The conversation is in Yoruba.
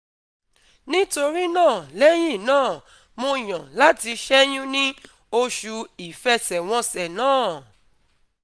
Nítorí náà lẹ́yìn náà, mo yàn láti ṣẹ́yún ní oṣù ìfẹsẹ̀wọnsẹ̀ náà